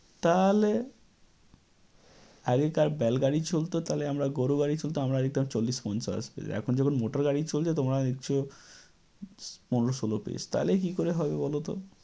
তাহলে? আগেকার বেলগাড়ি চলত আমরা গরুগাড়িতে চলত আমরা লিখতাম চল্লিশ পঞ্চাশ page । এখন যখন motor গাড়ি চলছে তোমরা লিখছ পনেরো ষোলো page । তাহলে কী করে হবে বলত?